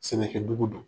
Sɛnɛkɛ dugu don